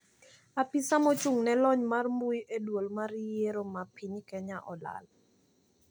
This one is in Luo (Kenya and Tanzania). Apisa mochung`ne lony mar mbui e duol mar yiero ma piny Kenya olal.